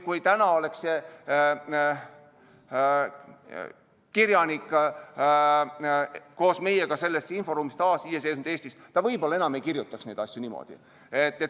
Kui täna oleks see kirjanik koos meiega selles inforuumis taasiseseisvunud Eestis, ta võib-olla enam ei kirjutaks neid asju niimoodi.